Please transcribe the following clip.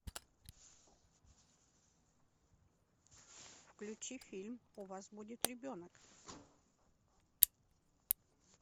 включи фильм у вас будет ребенок